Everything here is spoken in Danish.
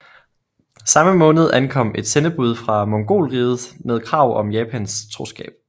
Samme måned ankom et sendebud fra Mongolriget med krav om Japans troskab